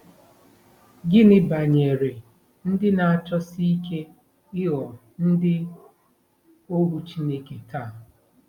Gịnị banyere ndị na-achọsi ike ịghọ ndị ohu Chineke taa?